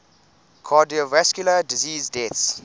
cardiovascular disease deaths